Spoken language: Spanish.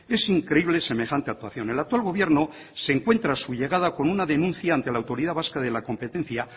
es increíble semejante actuación el actual gobierno se encuentra a su llegada con una denuncia ante la autoridad vasca de la competencia